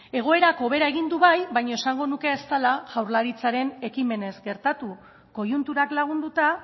egoerak hobera egin du bai baino esango nuke ez dela jaurlaritzaren ekimenez gertatu koiunturak lagunduta